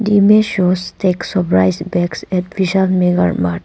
The image shows stacks of rice bags at vishal mega mart.